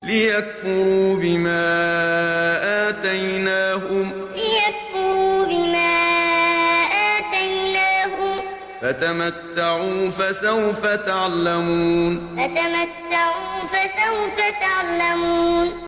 لِيَكْفُرُوا بِمَا آتَيْنَاهُمْ ۚ فَتَمَتَّعُوا ۖ فَسَوْفَ تَعْلَمُونَ لِيَكْفُرُوا بِمَا آتَيْنَاهُمْ ۚ فَتَمَتَّعُوا ۖ فَسَوْفَ تَعْلَمُونَ